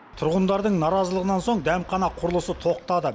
тұрғындардың наразылығынан соң дәмхана құрылысы тоқтады